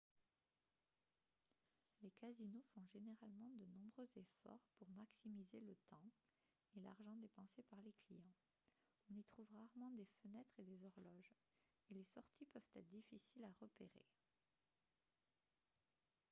les casinos font généralement de nombreux efforts pour maximiser le temps et l'argent dépensés par les clients on y trouve rarement des fenêtres et des horloges et les sorties peuvent être difficiles à repérer